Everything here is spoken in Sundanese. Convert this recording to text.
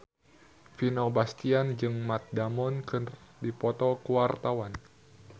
Vino Bastian jeung Matt Damon keur dipoto ku wartawan